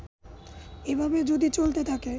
এভাবে যদি চলতে থাকে